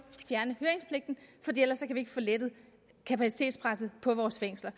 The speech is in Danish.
vi ikke få lettet kapacitetspresset på vores fængsler